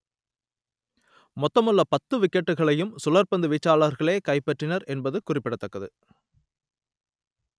மொத்தமுள்ள பத்து விக்கெட்டுகளையும் சுழற்பந்து வீச்சாளர்களே கைப்பற்றினர் என்பது குறிப்பிடத்தக்கது